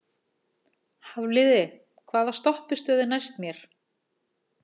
Hafliði, hvaða stoppistöð er næst mér?